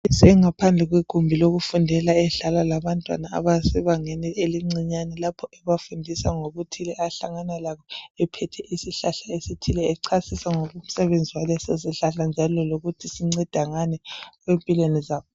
ngaphandle legumbi lokufundela edlala labantwana abasebangeni elincinyana lapha ebafundisa ngokuthile ahlangana lakho ephethe isihlahla esithile ecasisa ngemisebenzi yaso njalo lokuthi sinceda ngani empilweni zabantu